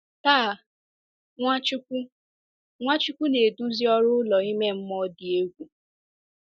Taa, Nwachukwu Nwachukwu na-eduzi ọrụ ụlọ ime mmụọ dị egwu.